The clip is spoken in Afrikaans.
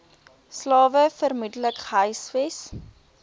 slawe vermoedelik gehuisves